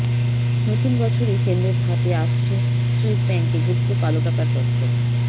নতুন বছরেই কেন্দ্রের হাতে আসছে সুইসব্যাঙ্কে গুপ্ত কালো টাকার তথ্য